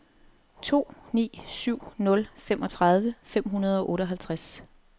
to ni syv nul femogtredive fem hundrede og otteoghalvtreds